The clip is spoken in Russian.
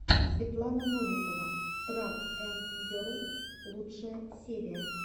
светлана новикова трак энд герл лучшая серия